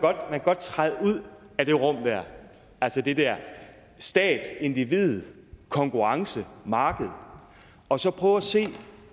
godt træde ud af det rum af det der stat individ konkurrence marked og så prøve at se